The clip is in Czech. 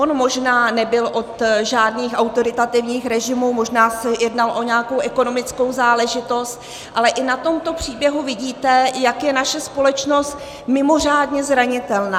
On možná nebyl od žádných autoritativních režimů, možná se jednalo o nějakou ekonomickou záležitost, ale i na tomto příběhu vidíte, jak je naše společnost mimořádně zranitelná.